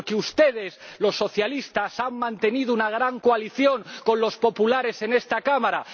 porque ustedes, los socialistas, han mantenido una gran coalición con los populares en esta Cámara.